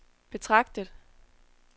betragtet